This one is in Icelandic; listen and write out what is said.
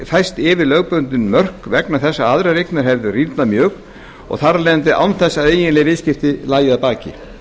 færst yfir lögbundin mörk vegna þess að aðrar eignir hefðu rýrnað mjög án þess að eiginleg viðskipti lægju að baki